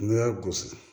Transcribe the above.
N'i y'a gosi